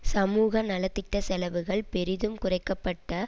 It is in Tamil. சமூக நலதிட்ட செலவுகள் பெரிதும் குறைக்க பட்ட